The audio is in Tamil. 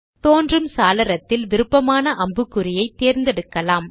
தோன்றும் சாளரத்தில் விருப்பமான அம்புக்குறியை தேர்ந்தெடுக்கலாம்